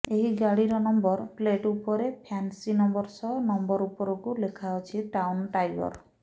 ଏହି ଗାଡିର number plate ଉପରେ ଫ୍ୟାନସି ନମ୍ବର ସହ ନମ୍ବର ଉପରକୁ ଲେଖାଅଛି ଟାଉନ ଟାଇଗର